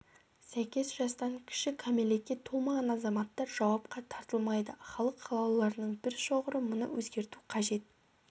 сәйкес жастан кіші кәмелетке толмаған азаматтар жауапқа тартылмайды халық қалаулыларының бір шоғыры мұны өзгерту қажет